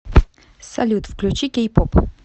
салют включи кей поп